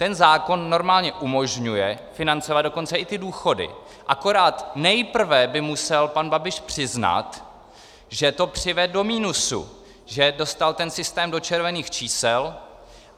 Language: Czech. Ten zákon normálně umožňuje financovat dokonce i ty důchody, akorát nejprve by musel pan Babiš přiznat, že to přivedl do minusu, že dostal ten systém do červených čísel.